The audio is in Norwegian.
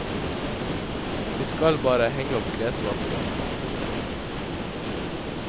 De skal bare henge opp klesvasken.